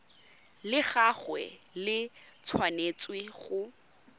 la gagwe le tshwanetse go